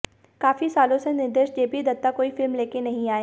काफी सालों से निर्देशक जेपी दत्ता कोई फिल्म लेकर नहीं आए हैं